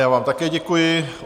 Já vám také děkuji.